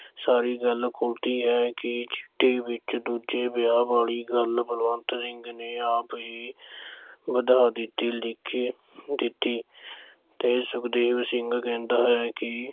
ਸਾਰੀ ਗੱਲ ਖੁਲਦੀ ਹੈ ਕਿ ਚਿੱਠੀ ਵਿੱਚ ਦੂਜੇ ਵਿਆਹ ਵਾਲੀ ਗੱਲ ਬਲਵੰਤ ਸਿੰਘ ਨੇ ਆਪ ਹੀ ਵਧਾ ਦਿੱਤੀ, ਲਿਖ ਦਿੱਤੀ ਤੇ ਸੁਖਦੇਵ ਸਿੰਘ ਕਹਿੰਦਾ ਹੈ ਕਿ